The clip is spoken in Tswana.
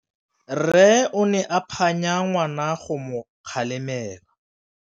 Rre o ne a phanya ngwana go mo galemela.